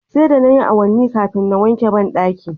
Sai da nayi awanni kafin na wanke bandakin